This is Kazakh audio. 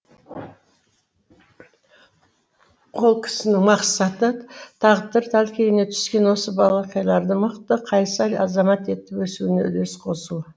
ол кісінің мақсаты тағдыр тәлкегіне түскен осы балақайларды мықты қайсар азамат етіп өсуіне үлес қосу